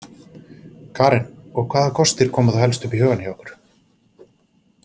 Karen: Og hvaða kostir koma þá helst upp í hugann hjá ykkur?